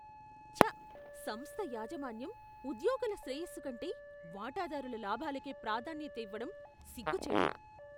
ఛ! సంస్థ యాజమాన్యం ఉద్యోగుల శ్రేయస్సు కంటే వాటాదారుల లాభాలకే ప్రాధాన్యత ఇవ్వడం సిగ్గు చేటు.